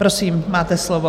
Prosím, máte slovo.